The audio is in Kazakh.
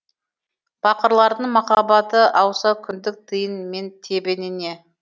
пақырлардың махаббаты ауса күндік тиын мен тебеніне